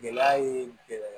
Gɛlɛya ye gɛlɛya